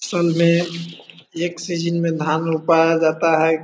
सुनले एक सीजन में धान रोपाया जाता है।